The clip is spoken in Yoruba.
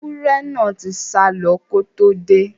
Ẹwúrẹ́ náà tí sálọ ko tó dé.